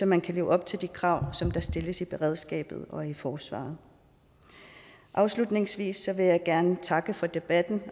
man kan leve op til de krav der stilles i beredskabet og i forsvaret afslutningsvis vil jeg gerne takke for debatten og